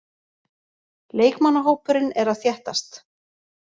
Leikmannahópurinn er að þéttast.